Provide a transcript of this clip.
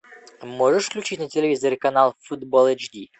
можешь включить на телевизоре канал футбол эйч ди